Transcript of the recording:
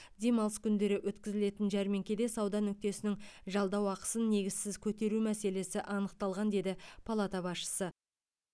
демалыс күндері өткізілетін жәрмеңкеде сауда нүктесінің жалдау ақысын негізсіз көтеру мәселесі анықталған деді палата басшысы